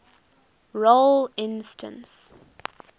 role instance